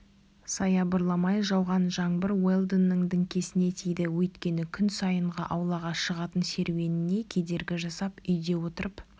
саябырламай жауған жаңбыр уэлдонның діңкесіне тиді өйткені оның күн сайынғы аулаға шығатын серуеніне кедергі жасап үйде отырып